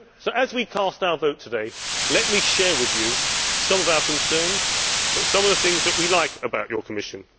So, as we cast our vote today, let me share with you some of our concerns, but also some of the things that we like about your Commission.